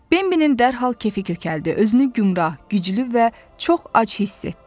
Bembilin dərhal kefi kökəldi, özünü gümbrah, güclü və çox ac hiss etdi.